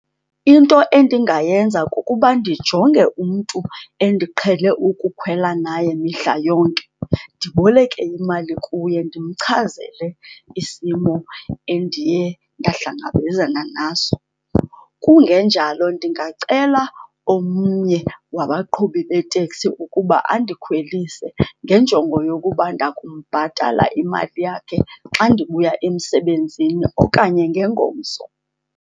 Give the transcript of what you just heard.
Into endingayenza kukuba ndijonge umntu endiqhele ukukhwela naye mihla yonke, ndiboleke imali kuye, ndimchazele isimo endiye ndahlangabezana naso. Kungenjalo ndingacela omnye wabaqhubi beeteksi ukuba andikhwelise ngenjongo yokuba ndakumbhatala imali yakhe xa ndibuya emsebenzini okanye ngengomso,